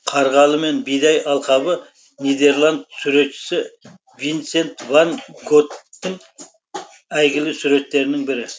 қарғалы мен бидай алқабы нидерланд суретшісі винсент ван готтың әйгілі суреттерінің бірі